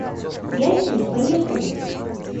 ясень поехали